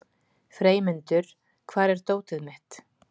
Freymundur, hvar er dótið mitt?